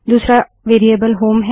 दूसरा variable home है